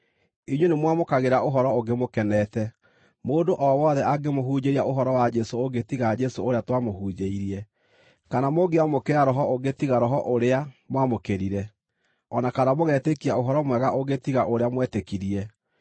Inyuĩ nĩmwamũkagĩra ũhoro ũngĩ mũkenete, mũndũ o wothe angĩmũhunjĩria ũhoro wa Jesũ ũngĩ tiga Jesũ ũrĩa twamũhunjĩirie, kana mũngĩamũkĩra roho ũngĩ tiga Roho ũrĩa mwamũkĩrire, o na kana mũgetĩkia ũhoro-mwega ũngĩ tiga ũrĩa mwetĩkirie.